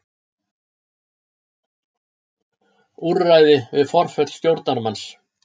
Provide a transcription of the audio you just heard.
Úrræði við forföll stjórnarmanns.